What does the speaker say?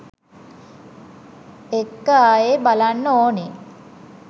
එක්ක ආයේ බලන්න ඕනේ.